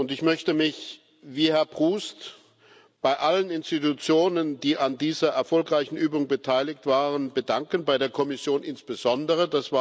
Ich möchte mich, wie Herr Proust, bei allen Institutionen, die an dieser erfolgreichen Übung beteiligt waren, bedanken bei der Kommission insbesondere.